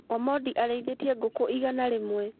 Omondi arĩithĩtie ngũkũ igana rĩmwe.